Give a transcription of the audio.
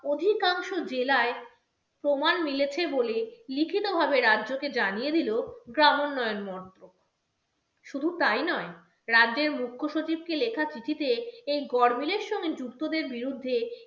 অধিকাংশ জেলায় প্রমাণ মিলেছে বলে লিখিতভাবে রাজ্যকে জানিয়ে দিল গ্রামোন্নয়ন মন্ত্রক শুধু তাই নয় রাজ্যের মুখ্য সচিবকে লেখা চিঠিতে এই গরমিলের সঙ্গে যুক্তদের বিরুদ্ধে